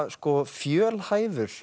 fjölhæfur